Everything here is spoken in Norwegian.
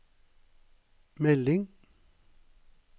melding